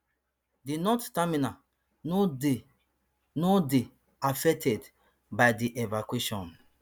di north terminal no dey no dey affected by di evacuation